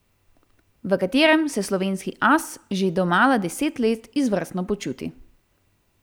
V katerem se slovenski as že domala deset let izvrstno počuti.